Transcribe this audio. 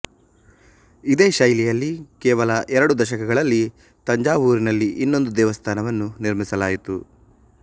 ಇದೇ ಶೈಲಿಯಲ್ಲಿ ಕೇವಲ ಎರಡು ದಶಕಗಳಲ್ಲಿ ತಂಜಾವೂರಿನಲ್ಲಿ ಇನ್ನೊಂದು ದೇವಸ್ಥಾನವನ್ನು ನಿರ್ಮಿಸಲಾಯಿತು